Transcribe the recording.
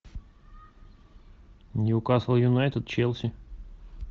ньюкасл юнайтед челси